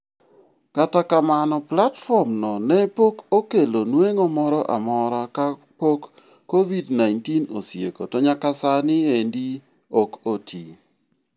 Kata kamano platform no ne pok okelo nueng'o mora mora ka pok Covid-19 osieko to nyaka sani endi ok otii.